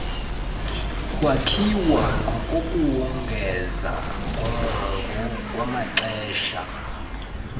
kwakhiwa ngokuwongeza ngokwamaxesha